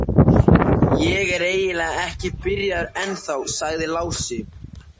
Ég er eiginlega ekki byrjaður ennþá, sagði Lási.